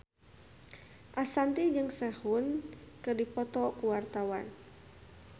Ashanti jeung Sehun keur dipoto ku wartawan